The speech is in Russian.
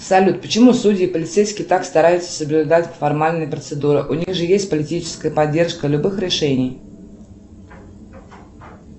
салют почему судьи и полицейские так стараются соблюдать формальные процедуры у них же есть политическая поддержка любых решений